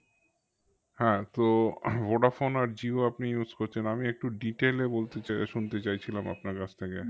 হ্যাঁ তো ভোডাফোন আর জিও আপনি use করছেন, আমি একটু detail এ বলতে চাই এ শুনতে চাইছিলাম আপনার কাছ থেকে